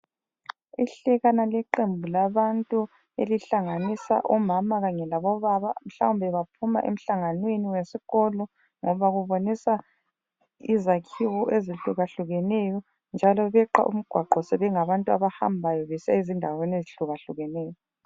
Ihlekana leqembu labantu elihlanganisa omama kanye labobaba mhlawumbe baphuma emhlanganweni wesikolo ngoba kubonisa izakhiwo ezihlukahlukeneyo njalo beqa umgwaqo sebengabantu abahambayo besiya endaweni ezihlukahlukeneyo.